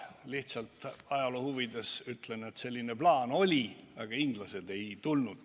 Lihtsalt ajaloo huvides ütlen, et selline plaan oli, aga inglased ei tulnud.